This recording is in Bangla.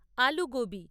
আলু গোবি